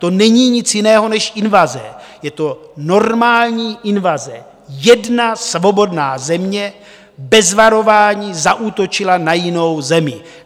To není nic jiného než invaze, je to normální invaze - jedna svobodná země bez varování zaútočila na jinou zemi.